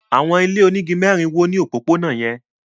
Àwọn ilé onígi mẹ́rin wó ní òpópónà yẹn.